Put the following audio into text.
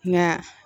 Nka